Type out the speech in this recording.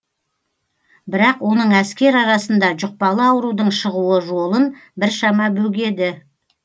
бірақ оның әскер арасында жұқпалы аурудың шығуы жолын біршама бөгеді